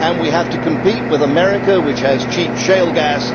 And we have to compete with America, which has cheap shale gas